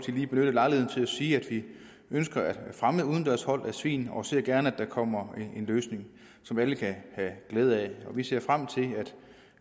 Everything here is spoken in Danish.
lige benytte lejligheden til at sige at vi ønsker at fremme udendørs hold af svin og vi ser gerne at der kommer en løsning som alle kan have glæde af vi ser frem til at